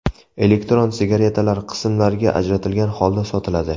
Elektron sigaretalar qismlarga ajratilgan holda sotiladi.